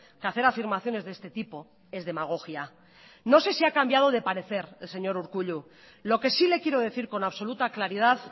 que hacer afirmaciones de este tipo es demagogia no sé si ha cambiado de parecer el señor urkullu lo que sí le quiero decir con absoluta claridad